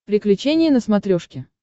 приключения на смотрешке